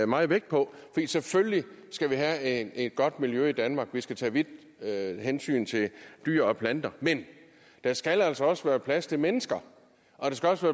meget vægt på selvfølgelig skal vi have et godt miljø i danmark vi skal tage vide hensyn til dyr og planter men der skal altså også være plads til mennesker og der skal også